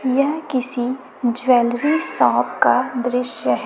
यह किसी jewellery shop का दृश्य है।